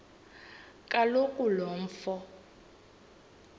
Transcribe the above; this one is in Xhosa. kaloku lo mfo